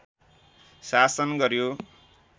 शासन गर्‍यो